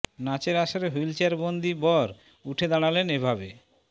নাচের আসরে হুইলচেয়ার বন্দি বর উঠে দাঁড়ালেন এ ভাবে